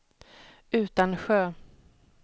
Utansjö